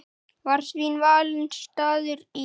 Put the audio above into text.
Var því valinn staður í